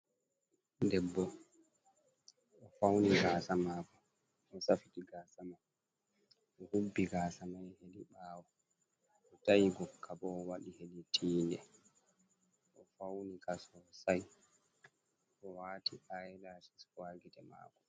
Debbo o'fauni gasa mako, osafiti gasa man, o'hubbi gasa mai hedi ɓawo, ota'i godka bo waɗi ha tinde o'fauni gasa sosai owati i-lashis ha gite mako.